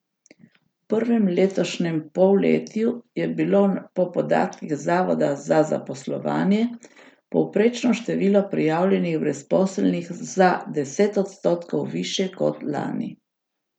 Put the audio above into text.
V prvem letošnjem polletju je bilo po podatkih zavoda za zaposlovanje povprečno število prijavljenih brezposelnih za deset odstotkov višje kot lani.